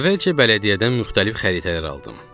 Əvvəlcə bələdiyyədən müxtəlif xəritələr aldım.